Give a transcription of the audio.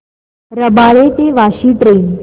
रबाळे ते वाशी ट्रेन